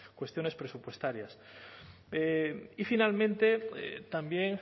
cuestiones presupuestarias y finalmente también